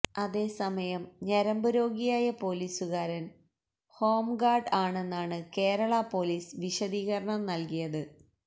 അതേസമയം ഞരമ്പ് രോഗിയായ പൊലീസുകാരന് ഹോം ഗാര്ഡ് ആണെന്നാണ് കേരള പൊലീസ് വിശദീകരണം നല്കിയത്